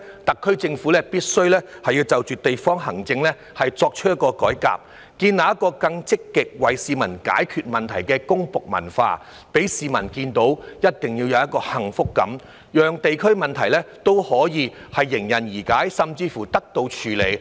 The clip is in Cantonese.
特區政府必須改革地區行政，建立更積極為市民解決問題的公僕文化，一定要讓市民有幸福感，讓地區問題可以迎刃而解，甚至得到處理。